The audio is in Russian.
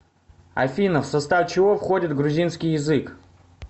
афина в состав чего входит грузинский язык